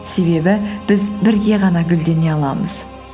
себебі біз бірге ғана гүлдене аламыз